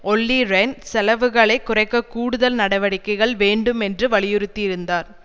ஒல்லி ரெஹ்ன் செலவுகளை குறைக்க கூடுதல் நடடிக்கைகள் வேண்டும் என்று வலியுறுத்தியிருந்தார்